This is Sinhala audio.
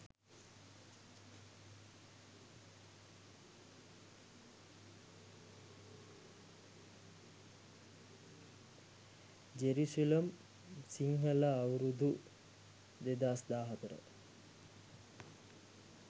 jerusalem sinhala aurudu 2014